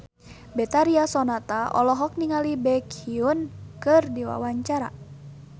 Betharia Sonata olohok ningali Baekhyun keur diwawancara